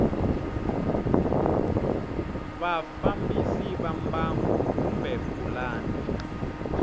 vafambisi va mbangu kumbe pulani